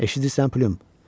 Eşidirsən, Pülüm?